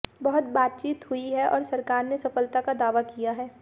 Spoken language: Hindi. बहुत बातचीत हुई है और सरकार ने सफलता का दावा किया है